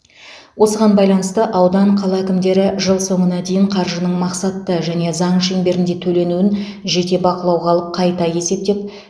осыған байланысты аудан қала әкімдері жыл соңына дейін қаржының мақсатты және заң шеңберінде төленуін жете бақылауға алып қайта есептеп